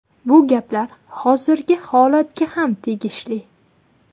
Bu gaplar hozirgi holatga ham tegishli.